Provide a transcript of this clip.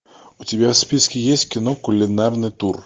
у тебя в списке есть кино кулинарный тур